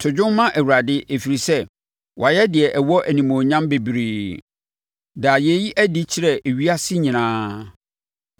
To dwom ma Awurade, ɛfiri sɛ, wayɛ deɛ ɛwɔ animuonyam bebree. Da yei adi kyerɛ ewiase nyinaa.